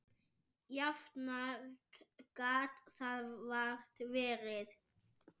Jafnara gat það vart verið.